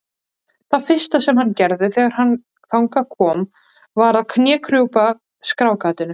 Það fyrsta sem hann gerði þegar þangað kom var að knékrjúpa skráargatinu.